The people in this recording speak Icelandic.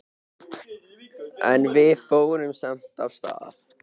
En við fórum samt af stað.